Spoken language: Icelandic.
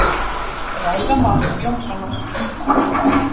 Ræða Más Jónssonar.